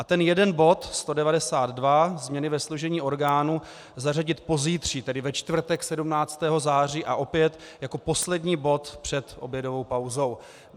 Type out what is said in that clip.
A ten jeden bod, 192 - změny ve složení orgánů, zařadit pozítří, tedy ve čtvrtek 17. září, a opět jako poslední bod před obědovou pauzou.